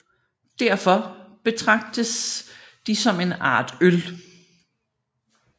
Derfor betragtets de som en art øl